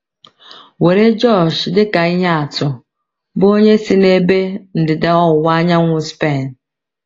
Were José dị ka ihe atu, bụ́ onye si n’ebe ndịda ọwụwa anyanwụ Spen.